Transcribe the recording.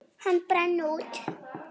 Hann brann út.